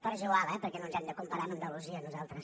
però és igual eh perquè no ens hem de comparar amb andalusia nosaltres